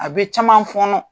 A bɛ caman fɔnƆ